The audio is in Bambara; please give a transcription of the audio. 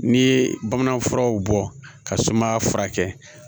N'i ye bamanan furaw bɔ ka sumaya furakɛ